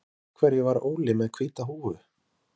Guðný: En af hverju var Óli með hvíta húfu?